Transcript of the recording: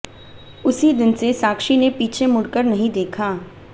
उसी दिन से साक्षी ने पीछे मुड़कर नहीं देखा